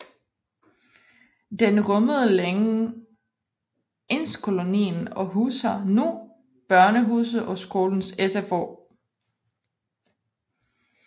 Den rummede længe indskolingen og huser nu Børnehuset og skolens SFO